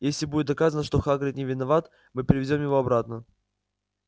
если будет доказано что хагрид не виноват мы привезём его обратно